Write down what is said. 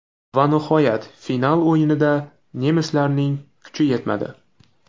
Va nihoyat final o‘yinida nemislarning kuchi yetmadi.